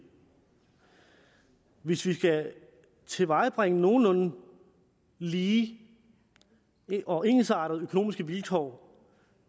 hvis vi skal tilvejebringe nogenlunde lige og ensartede økonomiske vilkår